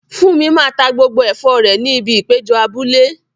Funmi máa ta gbogbo ẹ̀fọ́ rẹ̀ ní ibi ìpéjọ abúlé.